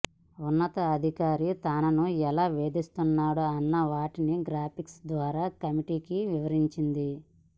ఉన్నతాధికారి తనను ఎలా వేధిస్తున్నాడో అన్న వాటిని గ్రాఫిక్స్ ద్వారా కమిటీకి వివరించింది